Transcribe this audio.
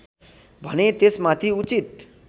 भने त्यसमाथि उचित